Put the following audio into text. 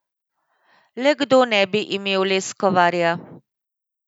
Le kdo ne bi imel Leskovarja?